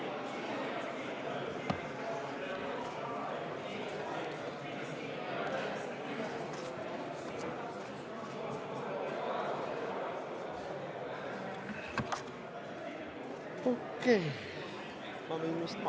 V a h e a e g